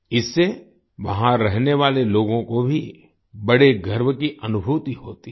इससे वहां रहने वाले लोगों को भी बड़े गर्व की अनुभूति होती है